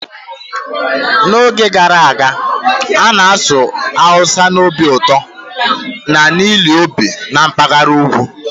N'oge gara aga, a na-asụ Hausa n'obi ụtọ na ile ọbịa na mpaghara ugwu.